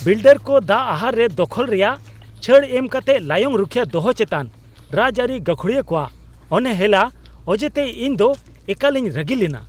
ᱵᱤᱞᱰᱟᱨᱠᱚ ᱫᱟᱜ ᱟᱦᱟᱨ ᱨᱮ ᱫᱚᱠᱷᱚᱞ ᱨᱮᱭᱟᱜ ᱪᱷᱟᱹᱲ ᱮᱢ ᱠᱟᱛᱮ ᱞᱟᱭᱚᱝ ᱨᱩᱠᱷᱤᱭᱟᱹ ᱫᱚᱦᱚ ᱪᱮᱛᱟᱱ ᱨᱟᱡᱽᱟᱹᱨᱤ ᱜᱟᱹᱠᱷᱩᱲᱤᱭᱟᱹ ᱠᱚᱣᱟᱜ ᱚᱱᱦᱮᱞᱟ ᱚᱡᱮᱛᱮ ᱤᱧ ᱫᱚ ᱮᱠᱟᱞᱤᱧ ᱨᱟᱹᱜᱤ ᱞᱮᱱᱟ ᱾